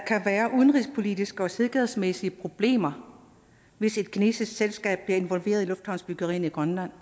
være udenrigspolitiske og sikkerhedsmæssige problemer hvis et kinesisk selskab bliver involveret i lufthavnsbyggerierne i grønland